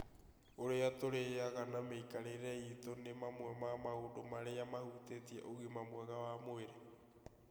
Ũrĩa tũrĩaga na mĩikarĩre itũ nĩ mamwe ma maũndũ marĩa mahutĩtie ũgima mwega wa mwĩrĩ.